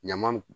Ɲama